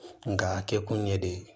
Nka a kɛ kun ɲɛ de ye